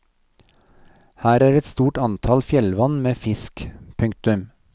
Her er et stort antall fjellvann med fisk. punktum